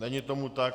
Není tomu tak.